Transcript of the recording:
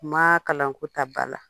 Kuma kalanko ta ba la